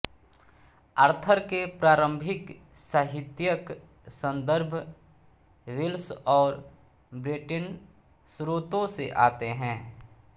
Arthur के प्रारंभिक साहित्यिक सन्दर्भ वेल्श और ब्रेटन स्रोतों से आते हैं